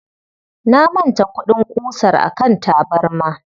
Na manta kuɗin ƙusar a kan tabarma.